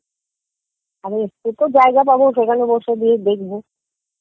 জায়গা পাবো সেখানে বসে গিয়ে দেখবো